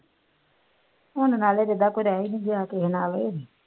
ਹੁਣ ਨਾਲੇ ਜਿਦਾਂ ਕੋਈ ਰਹਿ ਹੀ ਨਹੀਂ ਗਿਆ ਕਿਸੇ ਨਾਲ